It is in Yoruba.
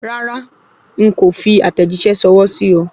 Rárá, n kò fi àtẹ̀jíṣẹ́ ṣọwọ́ sí o